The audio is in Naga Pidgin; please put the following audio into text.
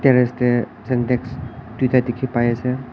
terrace te sentex duita dekhi pai ase.